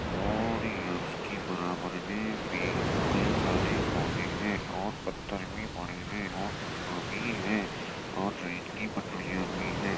और ये उसकी बराबर में पेड़ कई सारे पौधे हैं और पत्थर भी पड़े हैं और लोहा भी हैं और ट्रेन की पटरियाँ भी हैं।